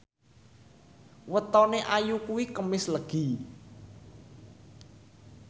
wetone Ayu kuwi Kemis Legi